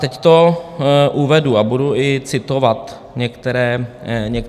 Teď to uvedu a budu i citovat některé věci.